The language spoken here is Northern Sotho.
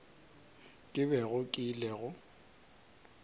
ke bego ke ile go